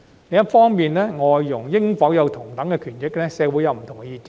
另一方面，對於外傭應否享有同等權益，社會有不同的意見。